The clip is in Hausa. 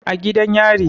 A gidan yari